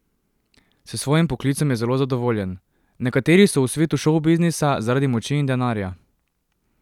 S svojim poklicem je zelo zadovoljen: "Nekateri so v svetu šovbiznisa zaradi moči in denarja.